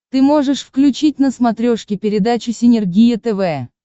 ты можешь включить на смотрешке передачу синергия тв